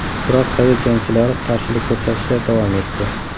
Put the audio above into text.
Biroq sovet jangchilari qarshilik ko‘rsatishda davom etdi.